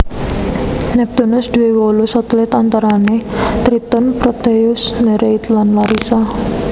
Neptunus duwé wolu satelit antarane Triton Proteus Nereid lan Larissa